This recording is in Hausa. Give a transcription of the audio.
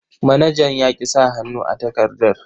Manajan ya ƙi sa hannu a takardar.